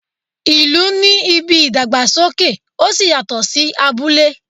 ìlú ní ìbí ìdàgbàsókè oṣí yatọ sí abúlé.